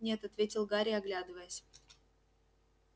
нет ответил гарри оглядываясь